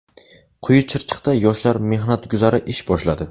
Quyi Chirchiqda yoshlar mehnat guzari ish boshladi.